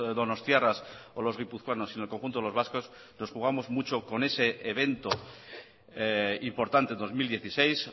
donostiarras o los guipuzcoanos sino el conjunto de los vascos nos jugamos mucho con ese evento importante dos mil dieciséis